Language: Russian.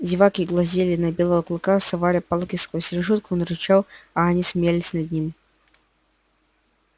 зеваки глазели на белого клыка совали палки сквозь решётку он рычал а они смеялись над ним